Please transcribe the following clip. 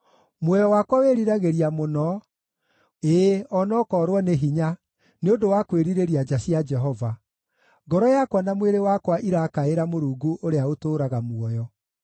Muoyo wakwa wĩriragĩria mũno, ĩĩ o na ũkoorwo nĩ hinya, nĩ ũndũ wa kwĩrirĩria nja cia Jehova; ngoro yakwa na mwĩrĩ wakwa irakaĩra Mũrungu ũrĩa ũtũũraga muoyo.